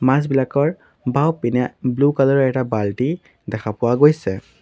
মাছবিলাকৰ বাওঁপিনে blue colour ৰ এটা বালটি দেখা পোৱা গৈছে।